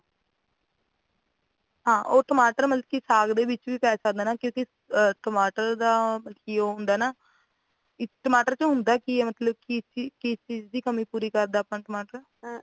ਹਾਂ ਉਹ ਟਮਾਟਰ ਮਤਲੱਬ ਕੀ ਸਾਗ ਦੇ ਵਿਚ ਵੀ ਪੈ ਜਾਂਦਾ ਕਿਉਂਕਿ ਟਮਾਟਰ ਦਾ ਮਤਲੱਬ ਕੀ ਉਹ ਹੁੰਦਾ ਆ ਨਾ ਟਮਾਟਰ ਚ ਹੁੰਦਾਂ ਕੀ ਆ ਮਤਲੱਬ ਕਿ ਕੀ ਚੀਜ਼ ਕੀ ਚੀਜ਼ ਦੀ ਕਮੀ ਪੂਰੀ ਕਰਦਾ ਆਪਾਂ ਟਮਾਟਰ